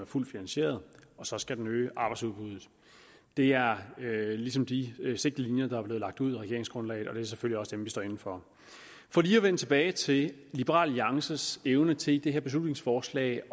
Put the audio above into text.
fuldt finansieret og så skal den øge arbejdsudbuddet det er ligesom de sigtelinjer der er blevet lagt ud i regeringsgrundlaget og det er selvfølgelig også dem vi står inde for for lige at vende tilbage til liberal alliances evne til i det her beslutningsforslag